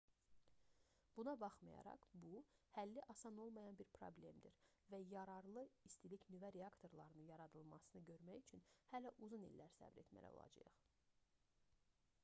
buna baxmayaraq bu həlli asan olmayan bir problemdir və yararlı istilik-nüvə reaktorlarının yaradılmasını görmək üçün hələ uzun illər səbr etməli olacağıq